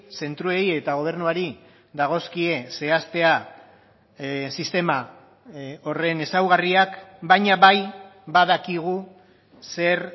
zentroei eta gobernuari dagozkie zehaztea sistema horren ezaugarriak baina bai badakigu zer